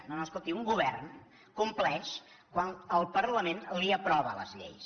no no escolti un govern compleix quan el parlament li aprova les lleis